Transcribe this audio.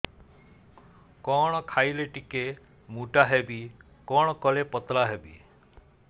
କଣ ଖାଇଲେ ଟିକେ ମୁଟା ହେବି କଣ କଲେ ପତଳା ହେବି